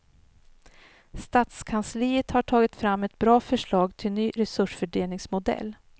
Stadskansliet har tagit fram ett bra förslag till ny resursfördelningsmodell.